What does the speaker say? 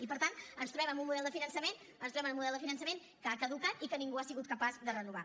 i per tant ens trobem amb un model de finançament ens trobem amb un model de finançament que ha caducat i que ningú ha sigut capaç de renovar